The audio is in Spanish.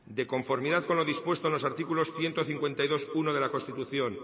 de conformidad con lo dispuesto en los artículos ciento cincuenta y dos punto uno de la constitución